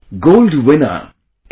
Gold winner L